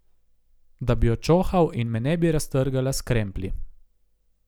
Da bi jo čohal in me ne bi raztrgala s kremplji.